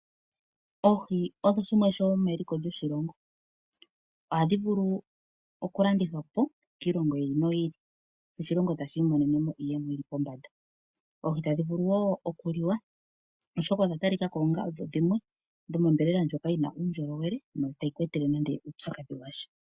Oohi odho oshinima shomeliko lyoshilongo ohadhi vulu okulandithwapo kiilongo yimwe, sho oshilongo tashi imonene mo iiyemo yopombanda. Oohi tadhi vulu wo okuliwa oshoka odha talikako dhomombelela ndjoka yina uundjolowele no itayi ku etele nande uupyakadhi washa.